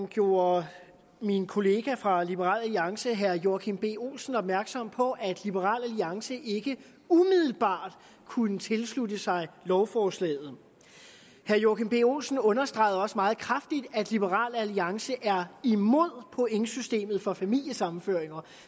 gjorde min kollega fra liberal alliance herre joachim b olsen opmærksom på at liberal alliance ikke umiddelbart kunne tilslutte sig lovforslaget herre joachim b olsen understregede også meget kraftigt at liberal alliance er imod pointsystemet for familiesammenføringer